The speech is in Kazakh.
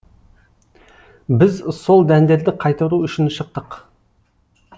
біз сол дәндерді қайтару үшін шықтық